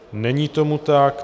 Není tomu tak.